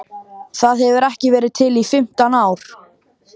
Það hefur ekki verið til í fimmtán ár!